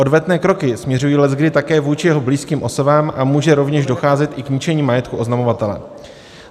Odvetné kroky směřují leckdy také vůči jeho blízkým osobám a může rovněž docházet i k ničení majetku oznamovatele.